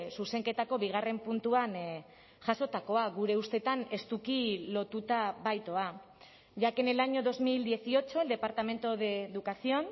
zuzenketako bigarren puntuan jasotakoa gure ustetan estuki lotuta baitoa ya que en el año dos mil dieciocho el departamento de educación